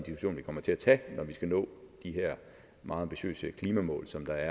kommer til at tage når vi skal nå de her meget ambitiøse klimamål som der